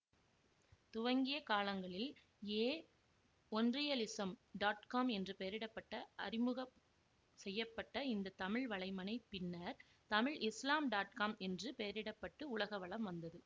துவங்கிய காலங்களில் ஏ ஓன்ரியலிஸம்காம் என்று பெயரிடப்பட்டு அறிமுகம் செய்ய பட்ட இந்த தமிழ் வலைமணை பின்னர் தமிழ்இஸ்லாம்காம் என்று பெயரிடப்பட்டு உலக வலம் வந்தது